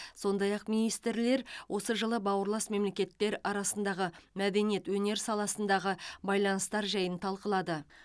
сондай ақ министрлер осы жылы бауырлас мемлекеттер арасындағы мәдениет өнер саласындағы байланыстар жайын талқылады